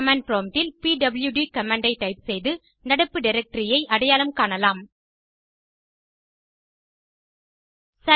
command prompt இல் பிடியூடி command ஐ டைப் செய்து நடப்பு டைரக்டரி ஐ அடையாளம் காண்போம்